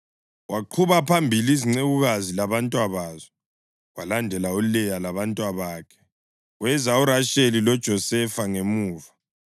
Waqhuba phambili izincekukazi labantwabazo, kwalandela uLeya labantwabakhe, kweza uRasheli loJosefa ngemuva.